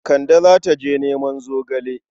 Kande za ta je neman zogale.